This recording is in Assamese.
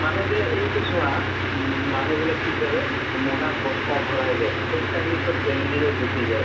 মানুহ যে এইটো চোৱা উম মানুহ বিলাক কি কৰা, মোনাত বস্তা ভৰাই লয়। খোজ কাঢ়ি চব family লৈ গুছি যায়।